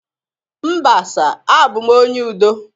Mba sir, abum onye udo